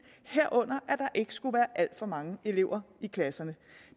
herunder at der ikke skulle være alt for mange elever i klasserne